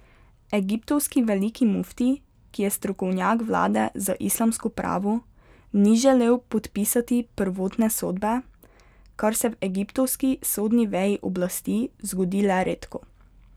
Egiptovski veliki mufti, ki je strokovnjak vlade za islamsko pravo, ni želel podpisati prvotne sodbe, kar se v egiptovski sodni veji oblasti zgodi le redko.